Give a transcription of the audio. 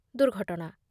ଦୁର୍ଘଟଣା